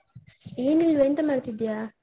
ಏನಿಲ್ವ ಎಂತ ಮಾಡ್ತಿದ್ಯಾ?